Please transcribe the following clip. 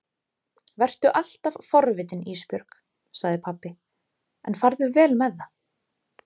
Vertu alltaf forvitin Ísbjörg, sagði pabbi, en farðu vel með það.